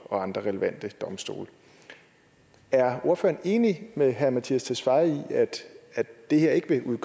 og andre relevante domstole er ordføreren enig med herre mattias tesfaye i at det her ikke vil